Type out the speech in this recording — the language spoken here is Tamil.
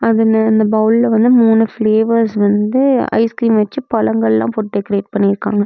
முன்ன அந்த பவுல்ல வந்து மூணு ஃப்ளேவர்ஸ் வந்து ஐஸ் கிரீம் வெச்சி பழங்கள்லாம் போட்டு டெக்ரேட் பண்ணிருக்காங்க.